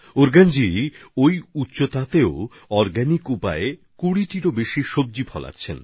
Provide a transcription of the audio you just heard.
ফুতসৌগজি এত উচ্চতায় জৈব পদ্ধতিতে চাষ করে প্রায় ২০ ধরনের ফসল উৎপাদন করছেন